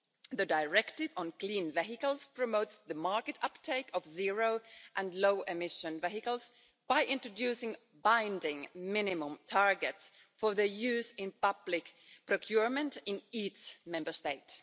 The Clean Vehicles Directive promotes the market uptake of zero and low emission vehicles by introducing binding minimum targets for their use in public procurement in each Member State.